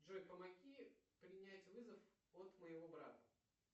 джой помоги принять вызов от моего брата